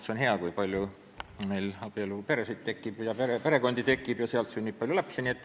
See on hea, kui meil tekib palju abieluperesid, perekondi ja seal sünnib palju lapsi.